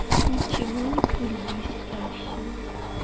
ничего не курю блестящее